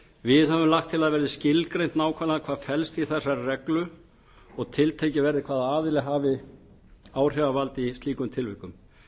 við höfum lagt til að það verði skilgreint nákvæmlega hvað felst í þessari reglu og tiltekið verði hvaða aðili hafi áhrifavald í slíkum tilvikum